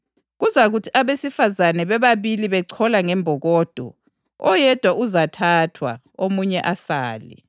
Kuzakuthi abesifazane bebabili bechola ngembokodo, oyedwa uzathathwa omunye asale.